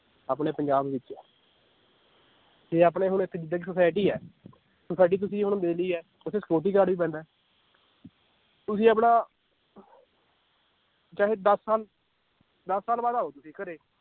ਆਪਣੇ ਪੰਜਾਬ ਵਿਚ ਤੇ ਆਪਣੇ ਹੁਣ society ਹੈ society ਤੁਸੀਂ ਹੁਣ ਹੈ, ਓਥੇ security guard ਵੀ ਬੈਂਦਾ ਏ ਤੁਸੀਂ ਆਪਣਾ ਚਾਹੇ ਦਸ ਸਾਲ ਦਸ ਸਾਲ ਬਾਅਦ ਆਓ ਤੁਸੀਂ ਘਰੇ